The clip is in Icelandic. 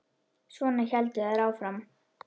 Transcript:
Svona héldu þær áfram.